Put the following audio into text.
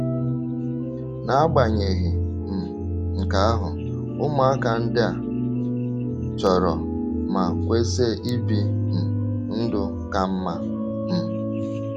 N’agbanyeghị um nke ahụ, ụmụaka ndị a chọrọ ma kwesị ibi um ndụ ka mma um.